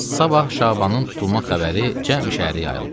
Sabah Şabanın tutulma xəbəri cəmi şəhəri yayıldı.